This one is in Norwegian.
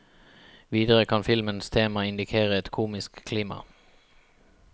Videre kan filmens tema indikere et komisk klima.